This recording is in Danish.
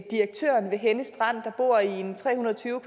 direktøren ved henne strand der bor i en tre hundrede og tyve